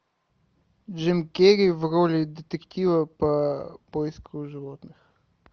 джим керри в роли детектива по поиску животных